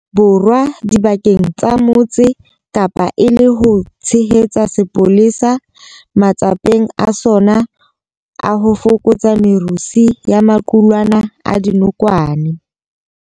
Borwa dibakeng tsa Motse Kapa e le ho tshehetsa sepolesa matsapeng a sona a ho fokotsa merusu ya maqulwana a dinokwane.